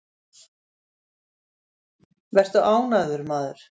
Vertu ánægður, maður!